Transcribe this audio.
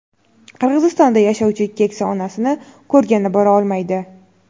Qirg‘izistonda yashovchi keksa onasini ko‘rgani bora olmaydi.